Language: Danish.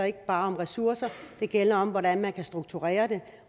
ikke bare om ressourcer men gælder om hvordan man kan strukturere det